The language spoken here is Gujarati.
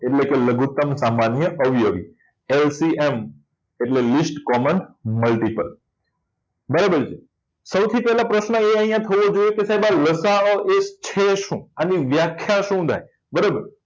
એટલે કે લઘુત્તમ સામાન્ય અવયવી LCM એટલે list common multiple બરાબર છે સૌથી પહેલા પ્રશ્ન અહીં થવો જોઈએ કે લસાઅ એ છે શું અને વ્યાખ્યા શું થાય બરાબર